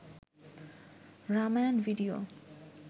Ramayana video